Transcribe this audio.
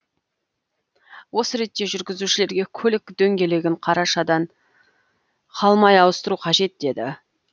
осы ретте жүргізушілерге көлік дөңгелегін қарашадан қалмай ауыстыру қажет деді